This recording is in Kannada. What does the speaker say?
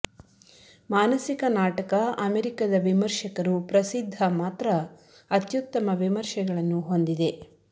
ಮಾನಸಿಕ ನಾಟಕ ಅಮೆರಿಕದ ವಿಮರ್ಶಕರು ಪ್ರಸಿದ್ಧ ಮಾತ್ರ ಅತ್ಯುತ್ತಮ ವಿಮರ್ಶೆಗಳನ್ನು ಹೊಂದಿದೆ